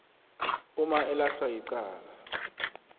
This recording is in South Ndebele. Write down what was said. uma elahlwa yicala